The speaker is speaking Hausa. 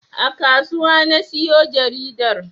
A kasuwa na siyo jaridar